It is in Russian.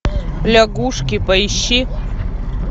лягушки поищи